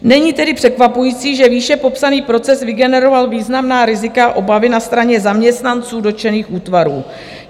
Není tedy překvapující, že výše popsaný proces vygeneroval významná rizika, obavy na straně zaměstnanců dotčených útvarů.